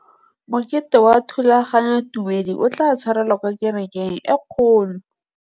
Mokete wa thulaganyôtumêdi o tla tshwarelwa kwa kerekeng e kgolo.